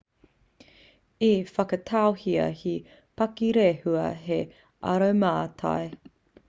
i whakatauhia he pakirehua hei aromātai